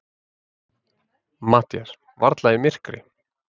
MATTHÍAS: Varla í myrkri.